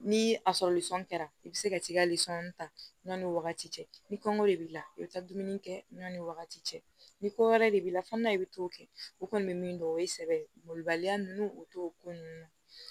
Ni a sɔrɔli sɔn kɛra i bi se ka t'i ka lisɔn ta ɲɔnni wagati ni kɔngɔ de b'i la i bi taa dumuni kɛ ɲɔn ni wagati cɛ ni ko wɛrɛ de b'i la fo n'a i be to kɛ o kɔni be min dɔn o ye sɛbɛn mɔlibaliya nunnu ye o t'o ko nunnu na